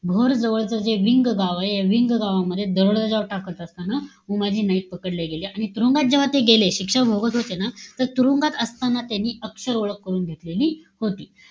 भोर जवळच जे विंग गाव आहे. या विंग गावामध्ये दरोडा जेव्हा टाकत असताना. उमाजी नाईक पकडले गेले. आणि तुरुंगात जेव्हा ते गेले. शिक्षा भोगत होते ना, तुरुंगात असताना त्यांनी अक्षर ओळख करून घेतलेली होती.